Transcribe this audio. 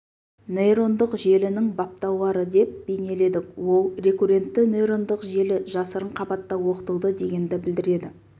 нейрондық желінің баптаулары деп бейнеледік ол рекуррентті нейрондық желі жасырын қабатта оқытылды дегенді білдіреді